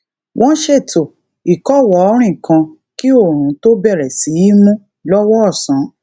won ṣètò ikowoorin kan kí òòrùn tó bere sí í mú lowo osán